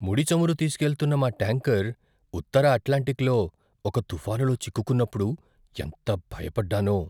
ముడి చమురు తీస్కెళ్తున్న మా ట్యాంకర్ ఉత్తర అట్లాంటిక్లో ఒక తుఫానులో చిక్కుకున్నప్పుడు ఎంత భయపడ్డానో.